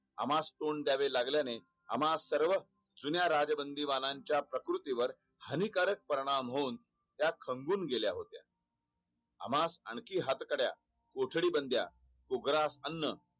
आम्हास तोडं द्यावे लागल्याने आम्हास सर्व जुन्या राजबंदीबाणाच्या प्रकृतीवर हानिकारक परिणाम होऊन त्यास समजून गेल्या होत्या आम्हास हातकड्या कोठडी बंड्या उग्रसा अन्न